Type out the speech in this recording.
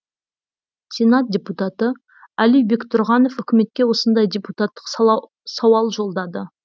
сенат депутаты али бектұрғанов үкіметке осындай депутаттық сауал жолдады